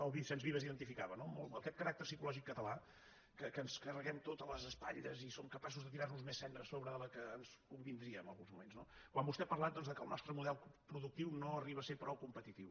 o vicenç vives identificava no aquest caràcter psicològic català que ens ho carreguem tot a les espatlles i som capaços de tirar·nos més cendra a sobre de la que ens convindria en alguns moments no quan vostè ha parlat que el nostre model produc·tiu no arriba a ser prou competitiu